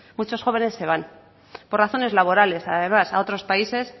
muchos jóvenes se van por razones laborales además a otros países